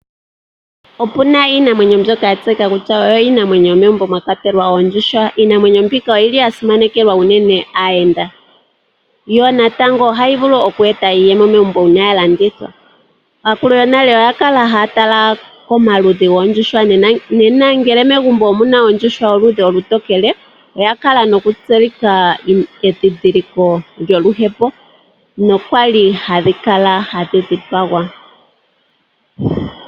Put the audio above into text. Otuna iinamwenyo mbyoka twa tseya kutya iinamwenyo yomegumbo mwa kwatelwa oondjuhwa. Iinamwenyo mbika oyili ya simanekelwa aayenda yo natango oyili hayi vulu oku eta iiyemo megumbo ngele ya landithwa. Aakulu yonale oya kala haya tala komaludhi goondjuhwa ngele megumbo omuna oondjuhwa dho ludhi olutokele odha kala noku tseyitha edhidhiliko lyoluhepo nokwali dha kala hadhi dhipagwa.